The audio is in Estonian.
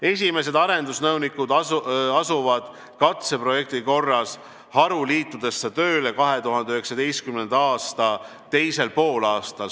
Esimesed arendusnõunikud asuvad katseprojekti korras haruliitudesse tööle 2019. aasta teisel poolaastal.